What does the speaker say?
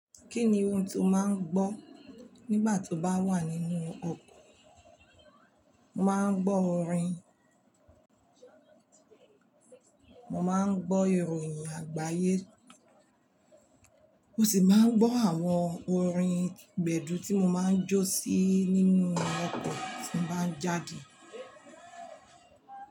Kí ni ohun tó máa ń gbọ́ nígbà tó bá wà nínú ọkọ̀? Mo máa ń gbọ́ orin, mo máa ń gbọ́ ìròyìn àgbáyé, mo sì máa ń gbọ́ àwọn orin gbẹ̀du tí mo máa ń jó sí nínú ọkọ̀ tí mo bá ń jáde.